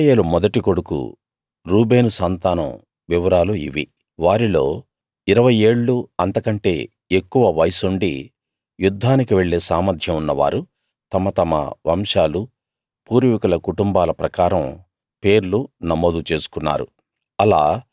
ఇశ్రాయేలు మొదటి కొడుకు రూబేను సంతానం వివరాలు ఇవి వారిలో ఇరవై ఏళ్ళూ అంతకంటే ఎక్కువ వయస్సుండి యుద్ధానికి వెళ్ళే సామర్థ్యం ఉన్నవారు తమ తమ వంశాలూ పూర్వీకుల కుటుంబాల ప్రకారం పేర్లు నమోదు చేసుకున్నారు